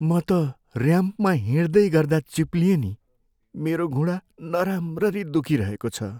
म त ऱ्याम्पमा हिँड्दै गर्दा चिप्लिएँ नि। मेरो घुँडा नराम्ररी दुखिरहेको छ।